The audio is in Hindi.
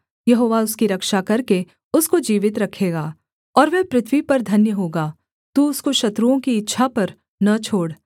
यहोवा उसकी रक्षा करके उसको जीवित रखेगा और वह पृथ्वी पर धन्य होगा तू उसको शत्रुओं की इच्छा पर न छोड़